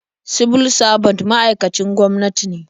Sibil sabant ma'aikacin gwamnati ne.